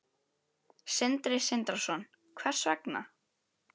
Sindri Sindrason: Hvers vegna?